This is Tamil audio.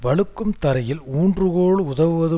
வழுக்கும் தரையில் ஊன்றுகோல் உதவுவது